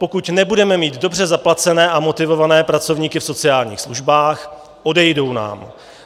Pokud nebudeme mít dobře zaplacené a motivované pracovníky v sociálních službách, odejdou nám.